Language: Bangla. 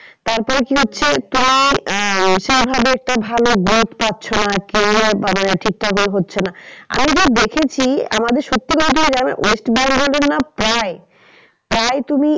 তারপরে কি হচ্ছে তুমি আহ সেই ভাবে একটু ভালো growth পাচ্ছ না career ঠিক ঠাক এ হচ্ছে না। আমি যে দেখেছি আমাদের west bengal এর না প্রায় প্রায় তুমি